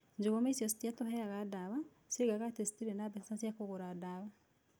Njũgũma icio itiatũheaga ndawa, cioigaga atĩ citiarĩ na mbeca cia kũgũra ndawa.